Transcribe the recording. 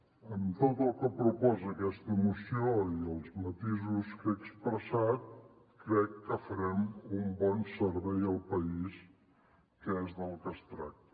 amb tot el que proposa aquesta moció i els matisos que he expressat crec que farem un bon servei al país que és del que es tracta